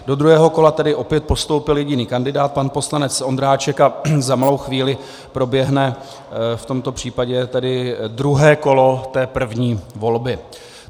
Do druhého kola tedy opět postoupil jediný kandidát - pan poslanec Ondráček - a za malou chvíli proběhne v tomto případě tedy druhé kolo té první volby.